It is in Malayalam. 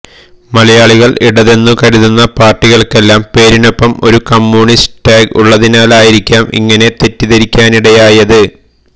മലയാളികൾ ഇടതെന്നു കരുതുന്ന പാർട്ടികൾക്കെല്ലാം പേരിനൊപ്പം ഒരു കമ്മൂണിസ്റ്റ് ടാഗ് ഉള്ളതിനാലായിരിക്കാം ഇങ്ങിനെ തെറ്റിദ്ധരിക്കാനിടയായത്